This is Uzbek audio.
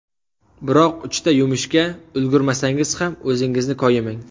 Biroq uchta yumushga ulgurmasangiz ham, o‘zingizni koyimang.